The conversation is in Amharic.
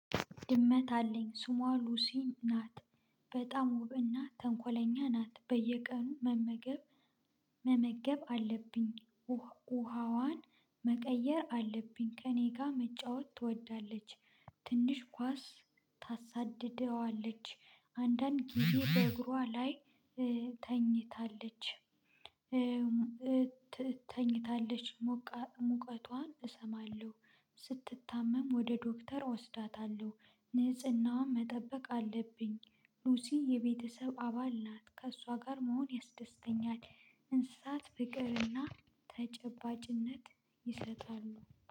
ድመት አለኝ ሱሟ ሉሲ ናት። በጣም ውብና ተንኮለኛ ናት በየቀኑ መመገብ መመገብ አለብኝ። ውሃዋን መቀየር አለብኝ ከእኔ ጋር መጫወት ትወዳለች። ትንሽ ኳስ ታሳድደዋለች አንዳንድ ጊዜ በእግሯ ላይ ተኝታለች። ተኝታለች ሞቃ ሙቀቷን እሰማለሁ። ስትታመም ወደ ዶክተር እወስዳታለሁ ንጽህናዋም መጠበቅ አለብኝ። ሉሲ የቤተሰብ አባል ናት ከእሷ ጋር መሆን ያስደስተኛል። እንስሳት ፍቅርና ተጨባጭነት ይሰጣሉ